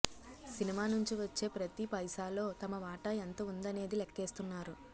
cinema నుంచి వచ్చే ప్రతీ పైసాలో తమ వాటా ఎంత ఉందనేది లెక్కేస్తున్నారు